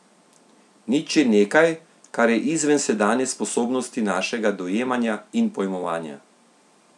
Nič je nekaj, kar je izven sedanje sposobnosti našega dojemanja in pojmovanja.